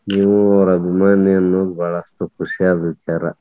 ನೀವು ಅವರ ಅಭಿಮಾನಿ ಅನ್ನುದ ಬಾಳಷ್ಟು ಖುಷಿಯಾದ ವಿಚಾರ.